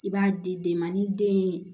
I b'a di den ma ni den ye